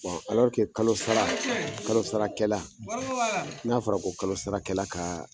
kalo sara, kalo sarakɛla; ; n'a fɔra ko kalo sarakɛla ka